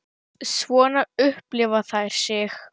Svona upplifa þær sig.